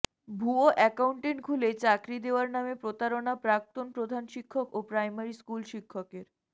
ভুয়ো অ্যাকাউন্ট খুলে চাকরি দেওয়ার নামে প্রতারণা প্রাক্তন প্রধান শিক্ষক ও প্রাইমারি স্কুল শিক্ষকের